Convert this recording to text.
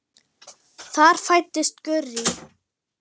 Þar fæddist Gurrý.